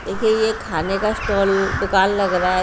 देखिए ये खाने का स्टाल दुकान लग रहा है।